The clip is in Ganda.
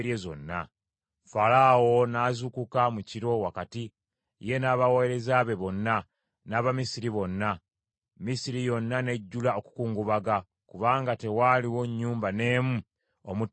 Falaawo n’azuukuka mu kiro wakati, ye n’abaweereza be bonna, n’Abamisiri bonna; Misiri yonna n’ejjula okukungubaga, kubanga tewaaliwo nnyumba n’emu omutaafa muntu.